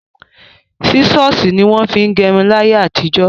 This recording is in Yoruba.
Sísọ̀sì ní wọ́n fin gẹrun láyé àtijọ́.